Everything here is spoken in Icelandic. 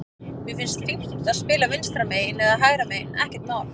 Mér finnst fínt að spila vinstra megin eða hægra megin, ekkert mál.